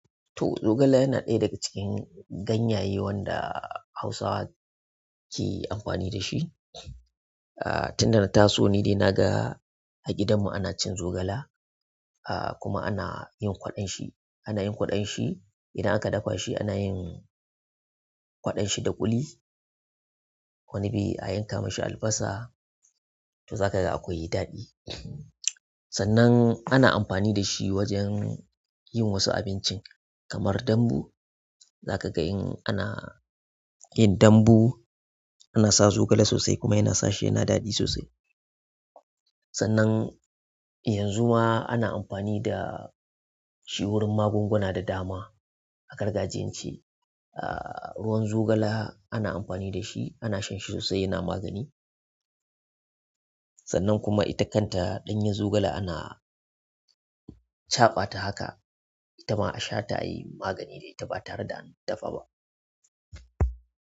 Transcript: To zogale yana ɗaya daga cikin ganyaye wanda Hausawa ke amfani da shi. Ah tun da na taso ni dai naga a gidanmu ana cin zogala. Ah kuma ana yin kwaɗon shi, ana yin kwaɗon shi. Idan aka dafa shi ana yin kwaɗon shi da kuli. Wani bi a yanka mashi albasa to za ka ga akwai daɗi. Sannan ana amfani da shi wajen yin wasu abincin kamar dambu. Za ka ga in ana yin dambu ana sa zogale sosai kuma yana sashe yana daɗi sosai. Sannan yanzu ma ana amfani da shi wurin magunguna da dama a gargajiyance. Ah ruwan zogala ana amfani da shi, ana shan shi sosai yana magani. Sannan kuma ita kanta ɗanyen zogala ana caɓa ta haka, ita ma a sha ta yi magani dai ita ba tare da an dafa ba.